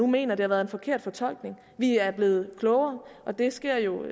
mener at det har været en forkert fortolkning vi er blevet klogere og det sker jo